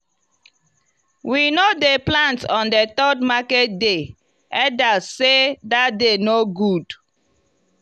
we no dey plant on the third market day elders sey that day no good.